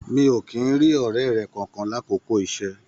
Mi o kìí n rí ọrẹ rẹ kánkan l'akoko iṣẹ.